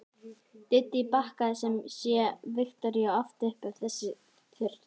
Dídí bakkaði sem sé Viktoríu oft upp ef þess þurfti.